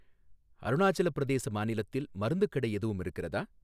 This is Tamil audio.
அருணாச்சல பிரதேச மாநிலத்தில் மருந்துக் கடை எதுவும் இருக்கிறதா?